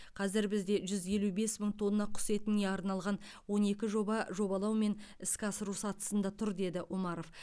қазір бізде жүз елу бес мың тонна құс етіне арналған он екі жоба жобалау мен іске асыру сатысында тұр деді омаров